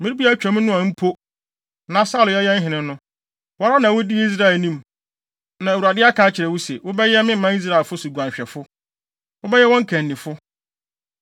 Mmere bi a atwa mu no a mpo, na Saulo yɛ yɛn hene no, wo ara na wudii Israel anim. Na Awurade aka akyerɛ wo se, ‘Wobɛyɛ me manfo Israel so guanhwɛfo. Wobɛyɛ wɔn kannifo.’ ”